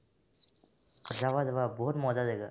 যাবা যাবা বহুত মজা জাগা